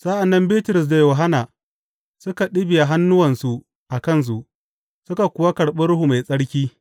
Sa’an nan Bitrus da Yohanna suka ɗibiya hannuwansu a kansu, suka kuwa karɓi Ruhu Mai Tsarki.